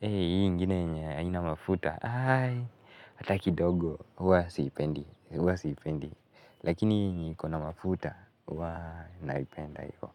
ingine yenye haina mafuta aii hata kidogo huwa sipendi lakini yenye iko na mafuta waah naipenda hivyo.